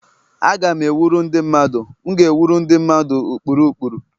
Aga m ewuru ndị mmadụ M ga-ewuru ndị mmadụ ụkpụrụ ụkpụrụ.